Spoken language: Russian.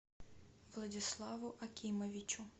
владиславу акимовичу